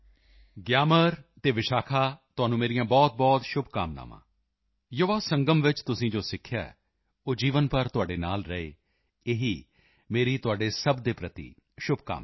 ਗਿਆਮਰ ਅਤੇ ਵਿਸ਼ਾਖਾ ਤੁਹਾਨੂੰ ਮੇਰੀਆਂ ਬਹੁਤਬਹੁਤ ਸ਼ੁਭਕਾਮਨਾਵਾਂ ਯੁਵਾ ਸੰਗਮ ਵਿੱਚ ਤੁਸੀਂ ਜੋ ਸਿੱਖਿਆ ਹੈ ਉਹ ਜੀਵਨ ਭਰ ਤੁਹਾਡੇ ਨਾਲ ਰਹੇ ਇਹੀ ਮੇਰੀ ਤੁਹਾਡੇ ਸਭ ਦੇ ਪ੍ਰਤੀ ਸ਼ੁਭਕਾਮਨਾ ਹੈ